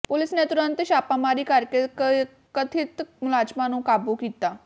police ਨੇ ਤੁਰੰਤ ਛਾਪਾਮਾਰੀ ਕਰਕੇ ਕਥਿਤ ਮੁਲਜ਼ਮਾਂ ਨੂੰ ਕਾਬੂ ਕੀਤਾ